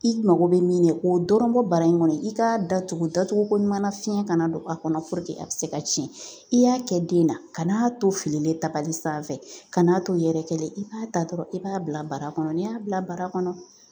I maKo bɛ min na o dɔrɔn bara in kɔnɔ i k'a datugu, datuguko ɲuman na fiɲɛ kana don a kɔnɔ a bɛ se ka cɛn, i y'a kɛ den na ka n'a to fililen tabali sanfɛ ka n'a to yɛrɛkɛlen i b'a ta dɔrɔn i b'a bila bara kɔnɔ n'i y'a bila bara kɔnɔ